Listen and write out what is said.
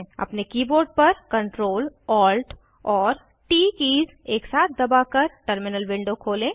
अपने कीबोर्ड पर Ctrl Alt और ट कीज़ एक साथ दबाकर टर्मिनल विंडो खोलें